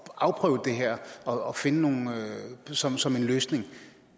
afprøve det her og finde noget som som en løsning